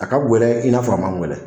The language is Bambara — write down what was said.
A ka gɛlɛn i n'a fɔ a man gɛlɛn